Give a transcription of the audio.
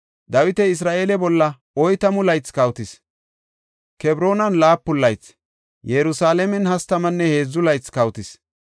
Dawiti Isra7eele bolla oytamu laythi kawotis; Kebroonan laapun laythi, Yerusalaamen hastamanne heedzu laythi kawotis.